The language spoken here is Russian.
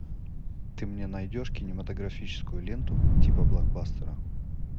ты мне найдешь кинематографическую ленту типа блокбастера